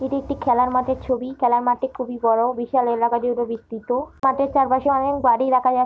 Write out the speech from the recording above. এটি একটি খেলার মাঠের ছবি। খেলার মাঠটি খুবই বড়ো। বিশাল এলাকা জুড়ে বিস্ত্রিত। মাঠের চারপাশে অনেক বাড়ি দেখা যা --